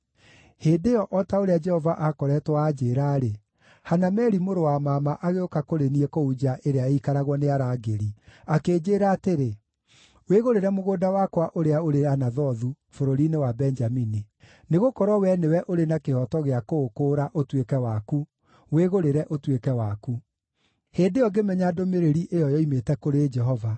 “Hĩndĩ ĩyo, o ta ũrĩa Jehova aakoretwo anjĩĩra-rĩ, Hanameli mũrũ wa mama agĩũka kũrĩ niĩ kũu nja ĩrĩa ĩikaragio nĩ arangĩri, akĩnjĩĩra atĩrĩ, ‘Wĩgũrĩre mũgũnda wakwa ũrĩa ũrĩ Anathothu, bũrũri-inĩ wa Benjamini. Nĩgũkorwo wee nĩwe ũrĩ na kĩhooto gĩa kũũkũũra ũtuĩke waku, wĩgũrĩre ũtuĩke waku.’ “Hĩndĩ ĩyo ngĩmenya ndũmĩrĩri ĩyo yoimĩte kũrĩ Jehova;